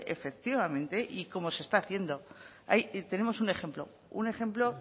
efectivamente y como se está haciendo ahí tenemos un ejemplo un ejemplo